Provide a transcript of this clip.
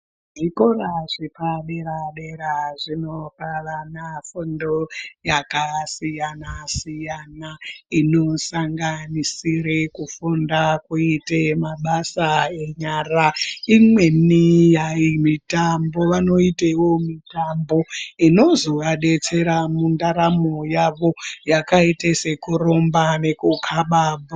Zvikora zvepadera-dera zvinopanana fundo yakasiyana-siyana inosanganisire kufunda kuite mabasa enyara. Imweni hai mitambo, vanoitewo mitambo inozovadetsera mundaramo yavo yakaite sekurumba nekukaba bhora.